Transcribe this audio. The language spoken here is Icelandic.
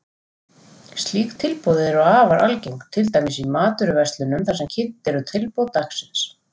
Slík tilboð eru afar algeng, til dæmis í matvöruverslunum þar sem kynnt eru tilboð dagsins.